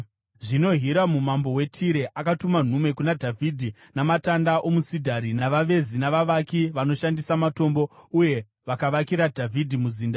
Zvino Hiramu mambo weTire akatuma nhume kuna Dhavhidhi, namatanda omusidhari, navavezi navavaki vanoshandisa matombo uye vakavakira Dhavhidhi muzinda.